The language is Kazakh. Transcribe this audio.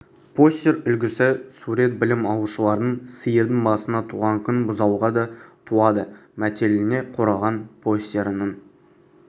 постер үлгісі сурет білім алушылардың сиырдың басына туған күн бұзауға да туады мәтеліне қорғаған постерінің